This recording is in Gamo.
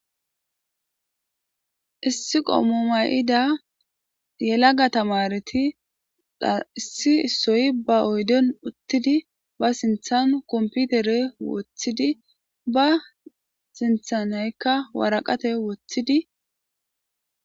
issi qommomayida yelaga tamareti dha issi issoy ba oydon uttidi ba sinthan komputere wothidi ba sinthanaykka waraqate wothidi